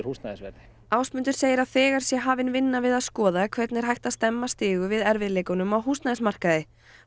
húsnæðisverðið Ásmundur segir að þegar sé hafin vinna við að skoða hvernig er hægt að stemma stigu við erfiðleikunum á húsnæðismarkaði